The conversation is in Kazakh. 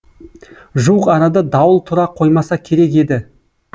жуық арада дауыл тұра қоймаса керек еді